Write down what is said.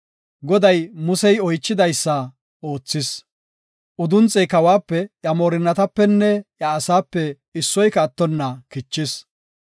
Goday Musey oychidaysada oothis. Udunxey kawuwape, iya moorinnatapenne iya asaape issoyka attonna kichis.